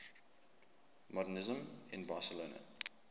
modernisme in barcelona